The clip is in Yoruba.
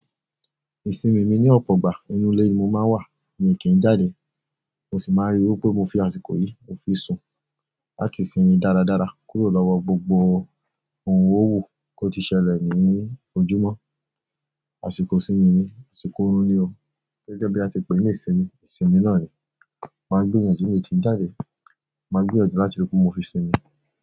Ìsinmi mi ní ọ̀pọ̀ ìgbà, inú ilé mi mo máa ń wà, èmi kì í jáde, mo sì máa ń ríi wí pé mo fi àsìkò yìí mo fi sùn láti sinmi dáradára kúrò lọ́wọ́ gbogbo ohun owó wo ko ti ṣẹlẹ̀ ní ojúmọ́, àsìkò sí mi ni, àsìkò orún ni o, gẹ́gẹ́ bí a ti pè é ní ìsinmi, ìsinmi náà ni, màá gbéyànjú ní mo ti ń jáde, màá gbéyànjú láti rí pé mo fi sinmi.